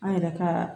An yɛrɛ ka